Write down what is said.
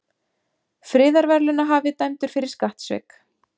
Friðarverðlaunahafi dæmdur fyrir skattsvik